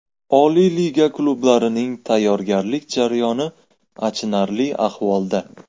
Oliy liga klublarining tayyorgarlik jarayoni achinarli ahvolda.